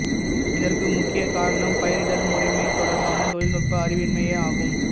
இதற்கு முக்கிய காரணம் பயிரிடல் முறைமை தொடர்பான தொழில்நுட்ப அறிவின்மையேயாகும்